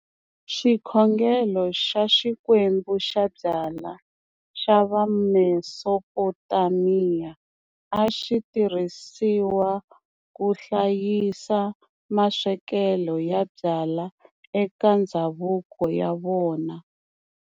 Xikhongelo xa xikwembu xa byala xa vaMesopotamiya, axitirhisiwa kuhlayisa maswekele ya byala eka ndhzavuko wa vona.